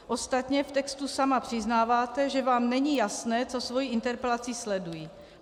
Ostatně v textu sama přiznáváte, že vám není jasné, co svou interpelací sleduji.